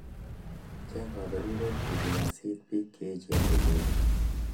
Cheng kaberuret ngikasiit bik cheechen kosirin